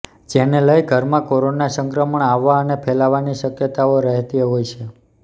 જેને લઇ ઘરમાં કોરોના સંક્રમણ આવવા અને ફેલાવવાની શક્યતાઓ રહેતી હોય છે